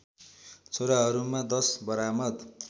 छोरहरूमा १० बरामद